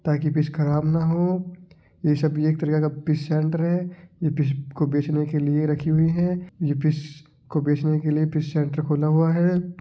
ताकि फिश ख़राब ना हो ये सब एक तरीका का फिश सेण्टर है ये फिश को बेच ने के लिए राखी हुई है ये फिश को बेच ने के लिए फिश सेण्टर खोला हुवा है।